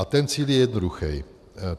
A ten cíl je jednoduchý.